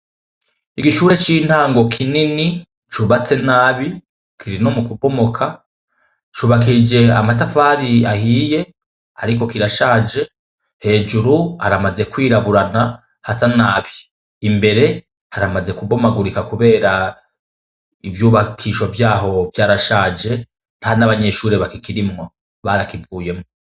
Igishure c'intango kinini cubatse nabi, kiri no mukubomoka, cubakishije amatafari ahiye, ariko kirashaje hejuru haramaze kwiraburana hasa na nabi, imbere haramaze kubomagurika kubera ivyubakisho vyaho vyarashaje nta n'abanyeshure bakikirimwo barakivuyemwo.